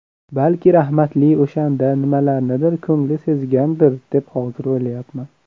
Balki rahmatli o‘shanda nimalarnidir ko‘ngli sezgandir deb hozir o‘ylayapman.